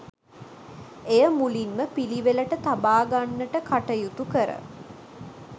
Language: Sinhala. එය මුලින්ම පිළිවෙලට තබාගන්නට කටයුතු කර